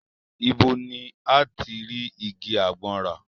Ibo ni a ti rí igi àgbọn rà?